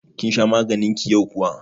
Kin sha maganin ki yau kuwa?